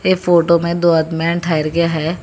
एक फोटो में दो आदमीयां ठहर के हैं।